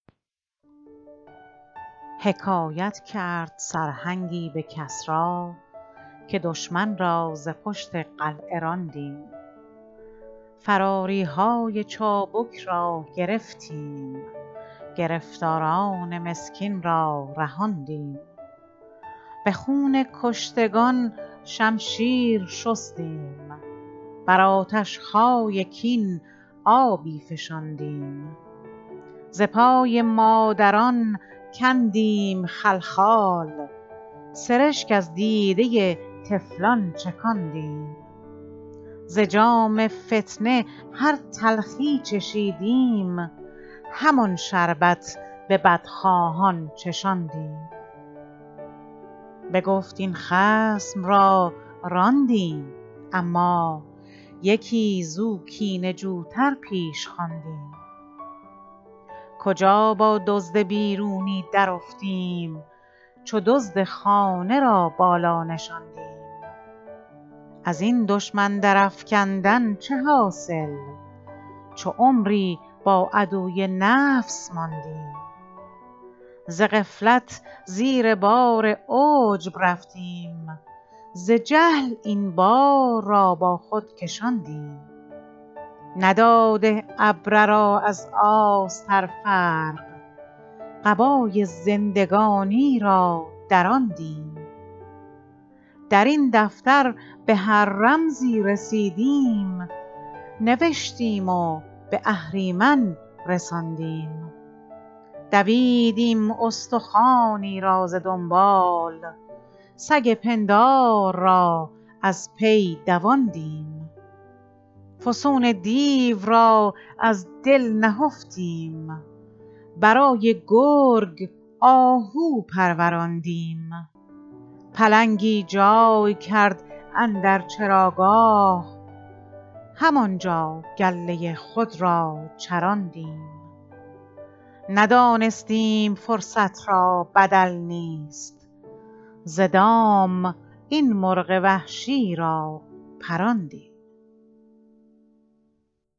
حکایت کرد سرهنگی به کسری که دشمن را ز پشت قلعه راندیم فراریهای چابک را گرفتیم گرفتاران مسکین را رهاندیم به خون کشتگان شمشیر شستیم بر آتشهای کین آبی فشاندیم ز پای مادران کندیم خلخال سرشک از دیده طفلان چکاندیم ز جام فتنه هر تلخی چشیدیم همان شربت به بدخواهان چشاندیم بگفت این خصم را راندیم اما یکی زو کینه جو تر پیش خواندیم کجا با دزد بیرونی درافتیم چو دزد خانه را بالا نشاندیم ازین دشمن در افکندن چه حاصل چو عمری با عدوی نفس ماندیم ز غفلت زیر بار عجب رفتیم ز جهل این بار را با خود کشاندیم نداده ابره را از آستر فرق قبای زندگانی را دراندیم درین دفتر به هر رمزی رسیدیم نوشتیم و به اهریمن رساندیم دویدیم استخوانی را ز دنبال سگ پندار را از پی دواندیم فسون دیو را از دل نهفتیم برای گرگ آهو پروراندیم پلنگی جای کرد اندر چراگاه همانجا گله خود را چراندیم ندانستیم فرصت را بدل نیست ز دام این مرغ وحشی را پراندیم